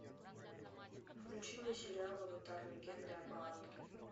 включи мне сериал аватар легенда об аанге